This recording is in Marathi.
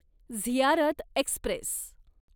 झियारत एक्स्प्रेस